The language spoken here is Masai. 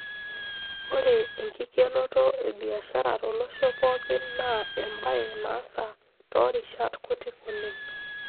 Ore enkikenoto e biashara tolosho pookin naa embaye naasa toorishat kuti oleng'.